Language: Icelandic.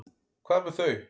Hvað með þau?